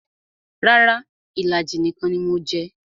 Rara, ìlàjì nìkan ni mo jẹ